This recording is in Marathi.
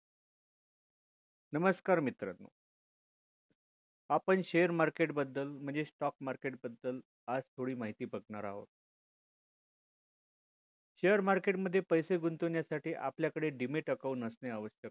नमस्कार मित्राणु आपण share market बदल म्हणजे stock market बदल आज थोडी माहिती बघणार आहोत share market मध्ये पैसे गुंतवण्यासाठी आपल्याकडे dmat account असणे आवश्यक आहे